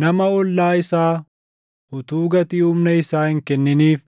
“Nama ollaa isaa utuu gatii humna isaa hin kenniniif